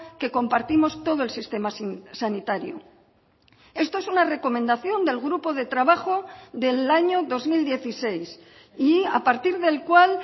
que compartimos todo el sistema sanitario esto es una recomendación del grupo de trabajo del año dos mil dieciséis y a partir del cual